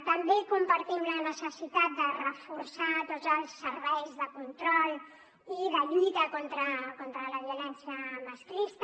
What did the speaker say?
també compartim la necessitat de reforçar tots els serveis de control i de lluita contra la violència masclista